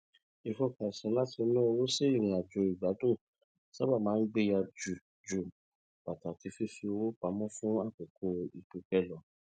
ìfọkànsìn láti na owó sí ìrìnàjò igbadún sábà máa ń gbéyà ju ju pataki fífi owó pamọ fún àkókò pípẹ lọ